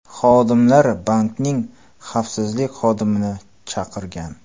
Xodimlar bankning xavfsizlik xodimini chaqirgan.